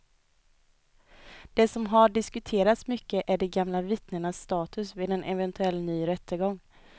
Det som har diskuterats mycket är de gamla vittnenas status vid en eventuell ny rättegång.